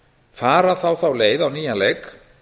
fara þá þá leið á nýjan leik